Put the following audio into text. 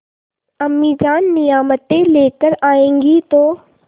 अम्मीजान नियामतें लेकर आएँगी तो